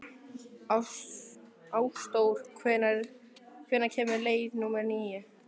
Ásdór, hvenær kemur leið númer tíu?